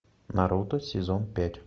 наруто сезон пять